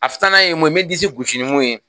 A filanan ye mun ye n bɛ disi gosi ni mun ye